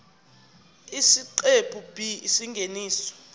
isiqephu b isingeniso